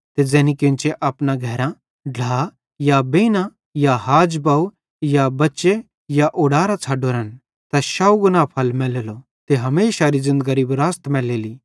ते ज़ैनी केन्चे अपना घरां ते ढ्ला या बेइन या हाज या बव या बच्चे या ऊडारां छ़ड्डोरेन तैस शौव गुणा फल मैलेलो ते हमेशारी ज़िन्दगरी विरासत मैलेली